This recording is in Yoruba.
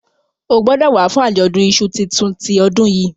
o gbódò wá fún Ajọdun iṣu títún ti odun yí!